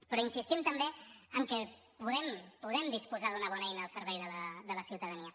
però insistim també que podem podem disposar d’una bona eina al servei de la ciutadania